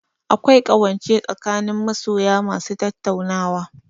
Akwai ƙawance tsakanin masoya ma su tattaunawa